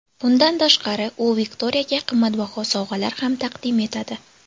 Bundan tashqari, u Viktoriyaga qimmatbaho sovg‘alar ham taqdim etadi.